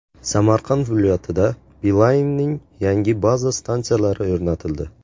Samarqand viloyatida Beeline’ning yangi baza stansiyalari o‘rnatildi.